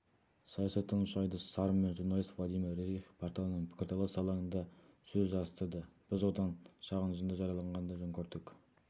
саясаттанушы айдос сарым мен журналист владимир рерих порталының пікірталас алаңында сөз жарыстырды біз содан шағын үзінді жариялағанды жөн көрдік